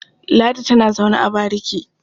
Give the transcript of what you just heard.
Ladi tana zaune a bariki.